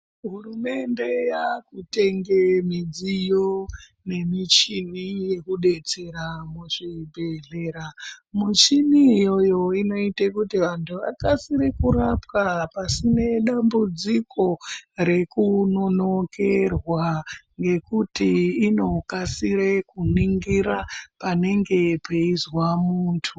Hurumende yakatenge midziyo nemichini yekudetsera muzvibhedhlera. Michini iyoyo inoita kuti vantu vakasire kurapiwa pasina dambudziko rekunonokerwa ngekuti inokasire kuningira panenge peizwa muntu.